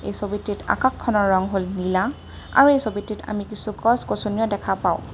এই ছবিটিত আকাশখনৰ ৰং হ'ল নীলা আৰু এই ছবিটিত আমি কিছু গছ-গছনিও দেখা পাওঁ।